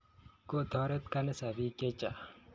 Kotoret kaniset piik chechang' konyor peek